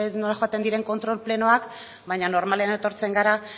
nola joaten diren kontrol plenoak baina normalean etortzen gara